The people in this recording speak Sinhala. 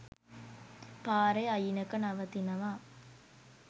පාරෙ අයිනක නවතිනවා